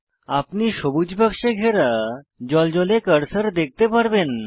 আপনি সবুজ বাক্সে ঘেরা জ্বলজ্বলে কার্সার দেখতে পারবেন